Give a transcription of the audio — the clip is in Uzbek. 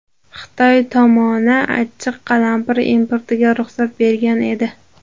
Xitoy tomoni achchiq qalampir importiga ruxsat bergan edi.